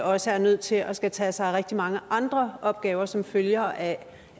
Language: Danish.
også er nødt til at skulle tage sig af rigtig mange andre opgaver som følger af